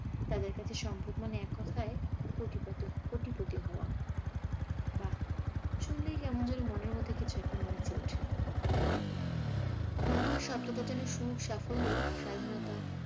তাদের কাছে সম্পদ মানে এককথায় কোটিপতি কোটিপতি হওয়া। বাহ্ শুনলেই কেমন যেন মনের মধ্যে কিছু একটা নেচে ওঠে। মনে হয় শব্দটা যেন সুখ, সাফল্য, স্বাধীনতা